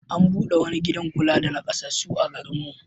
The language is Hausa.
An buɗe wani gidan kula da naƙasassu a garin mu.